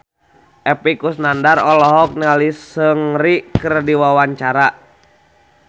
Epy Kusnandar olohok ningali Seungri keur diwawancara